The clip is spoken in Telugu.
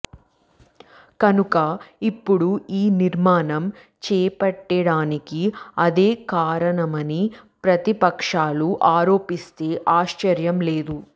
కనుక ఇప్పుడు ఈ నిర్మాణం చేప్పట్టడానికి అదే కారణమని ప్రతిపక్షాలు ఆరోపిస్తే ఆశ్చర్యం లేదు